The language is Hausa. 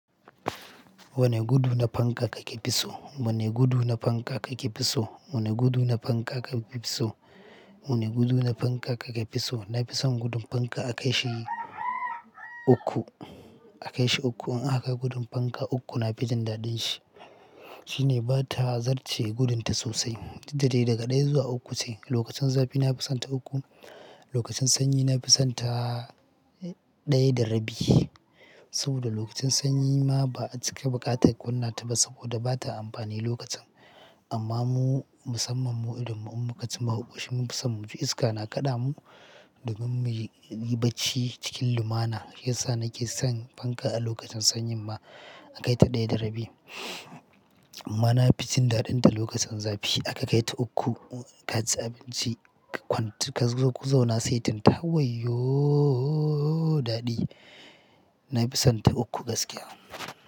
Wane gudu na fanka kake fi so? Wane gudu na fanka kake fi so? Wane gudu na fanka ka fi so? Wane gudu na fanka ka fi so? Na fi son gudun fanka a kai shi uku, a kai shi uku. In aha kai gudun fanka uku na fi jin daɗin shi. Shine bata zarce gudunta sosai. Dudda dai daga ɗaya zuwa uku ce. Lokacin zafi na fi sonta uku. Lokacin sanyi na fi sonta ɗaya da rabi. Saboda lokacin sanyi ma ba a cike baƙata ƙwannata ba saboda bata amfani lokacin. Amma mu musamman mu irin mu in mukaci muaƙoshi mu fi son mu ji iska na kaɗa mu domin muji mu yi bacci cikin lumana. Shiyasa nake son fanka a lokacin sanyi ma a kai ta ɗaya da rabi. Amma na fi jin daɗinta lokacin zafi aka kai ta uku. Ka ji abinci ka kwantu kazo ku zauna saitinta wayyo daɗi. Na fi sonta uku gaskiya.